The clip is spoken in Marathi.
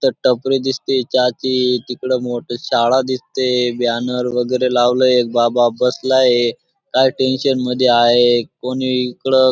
तिथं टपरी दिसतीये चहाची तिकडं मोठी शाळा दिसते बॅनर वगैरे लावलाये एक बाबा बसलाहे काही टेन्शन मध्ये आहे कोणी इकडं--